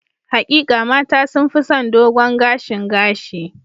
Hakika, mata sun fi son dogon gashin gashi.